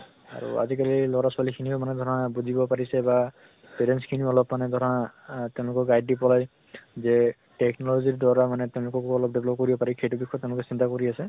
আৰু আজি কালিৰ লʼৰা ছোৱালী খিনিও মানে ধৰা বুজিব পাৰিছে বা parents খিনিও অলপ মানে ধৰা আহ তেনেকুৱা guide দি পলাই যে technology দ্বাৰা তেওঁলোককো অলপ develop কৰিব পাৰি, সেইটো বিষয়ে তেওঁলোকে চিন্তা কৰি আছে।